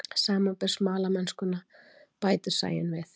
Samanber smalamennskuna, bætir Sæunn við.